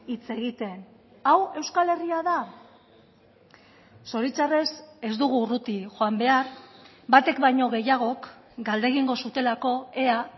hitz egiten hau euskal herria da zoritxarrez ez dugu urruti joan behar batek baino gehiagok galdegingo zutelako ea